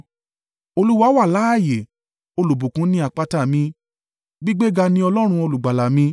Olúwa wà láààyè! Olùbùkún ni àpáta mi! Gbígbéga ní Ọlọ́run Olùgbàlà mi.